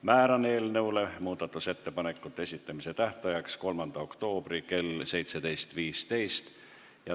Määran eelnõu muudatusettepanekute esitamise tähtajaks 3. oktoobri kell 17.15.